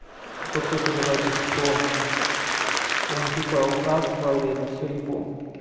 то что ты говоришь что он типа ухаживал и это всё его